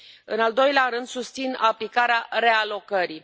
În al doilea rând, susțin aplicarea realocării.